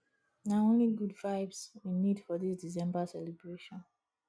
na only good vibes we need for dis december celebration